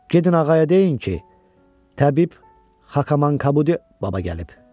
Gədin ağaya deyin ki, Təbib Xakaman Kabuddi baba gəlib.